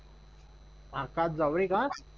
आकाश जावरे का?